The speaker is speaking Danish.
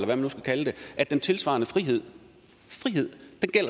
man nu skal kalde det at den tilsvarende frihed